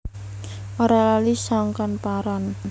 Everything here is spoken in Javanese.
Ora lali sangkan paran